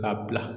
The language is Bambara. K'a bila